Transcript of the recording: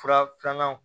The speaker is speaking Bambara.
Fura filanan